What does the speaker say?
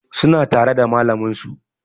Suna tare da malamin su